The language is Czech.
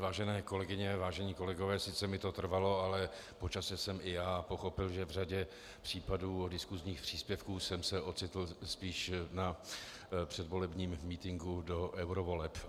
Vážené kolegyně, vážení kolegové, sice mi to trvalo, ale po čase jsem i já pochopil, že v řadě případů diskusních příspěvků jsem se ocitl spíš na předvolebním mítinku do eurovoleb.